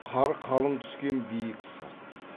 қар қалың түсетін биік сырт